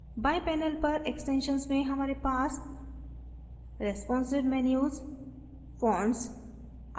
बाएं panel पर extensions में हमारे पास हैं responsive menus fonts